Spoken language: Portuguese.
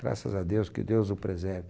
Graças a Deus, que Deus o preserve.